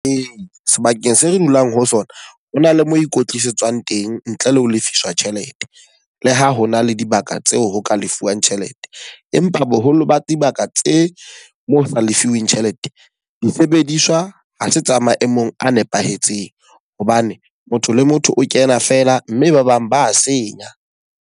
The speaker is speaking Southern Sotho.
Ee, sebakeng se re dulang ho sona ho na le mo ikwetlisetswang teng ntle le ho lefiswa tjhelete. Le ha ho na le dibaka tseo ho ka lefuwang tjhelete. Empa boholo ba dibaka tse mo sa lefiwing tjhelete, disebediswa ha se tsa maemong a nepahetseng. Hobane motho le motho o kena feela, mme ba bang ba senya.